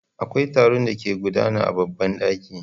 Akwai taro da ke gudana a babban daki.